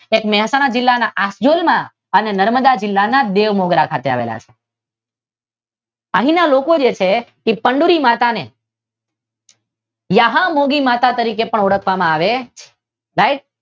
એક મહેસાણા જિલ્લાના આખડોલ અને નર્મદા જિલ્લાના બેઉ મુદ્રા ખાતે આવેલા છે. અહીના જે લોકો છે જે ચંદૂરી માતા ને યહાંમૂદી માતા તરીકે પણ ઓળખવામાં આવે છે રાઇટ?